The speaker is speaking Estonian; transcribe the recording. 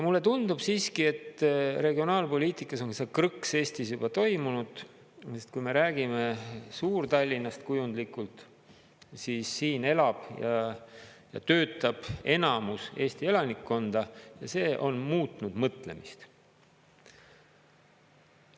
Mulle tundub siiski, et regionaalpoliitikas on see krõks Eestis juba toimunud, sest kui me räägime Suur-Tallinnast kujundlikult, siis siin elab ja töötab enamus Eesti elanikkonda ja see on muutnud mõtlemist.